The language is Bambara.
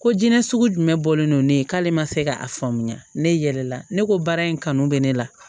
Ko jinɛ sugu jumɛn bɔlen no ne ye k'ale ma se ka a faamuya ne yɛlɛla ne ko baara in kanu bɛ ne la